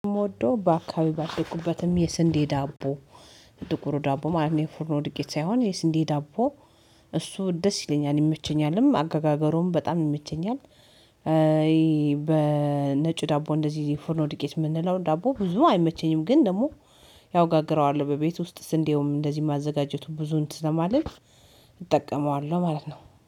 የምወደው በአካባቢ ባደረኩበትም የስንዴ ዳቦ ጥቁሩ ዳቦ ማለት ነው የፍርም ወድቄት ሳይሆን የስንዴ ዳቦ እሱ ደስ ይለኛል ይመቸኛልም አገጋገሩም በጣም ይመቸኛል። በነጭ ዳቦ እንደዚህ የፎርኖ ድቄት የምንለው ዳቦ ብዙ አይመቸኝም ግን ደግሞ ያወ እጋግረዋል በቤት ውስጥ እንደውም እንደዚህ ማዘጋጀቱ ብዙን እንት ስለማልል። እጠቀመዋለሁ ማለት ነው